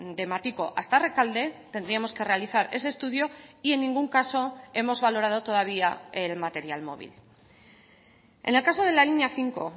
de matiko hasta rekalde tendríamos que realizar ese estudio y en ningún caso hemos valorado todavía el material móvil en el caso de la línea cinco